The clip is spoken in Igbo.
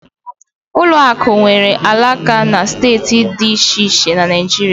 Ụlọ akụ nwere alaka na steeti dị iche iche na Naijiria.